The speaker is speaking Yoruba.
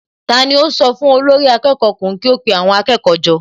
Tani ó sọ fún olórí akẹ́kọ̀ọ́ ọkùnrin kí ó pe àwọn akẹ́kọ̀ọ́ jọ?